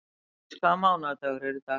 Hafdís, hvaða mánaðardagur er í dag?